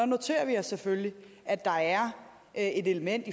noterer os selvfølgelig at der er et element